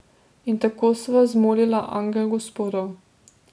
In tako sva zmolila Angel Gospodov.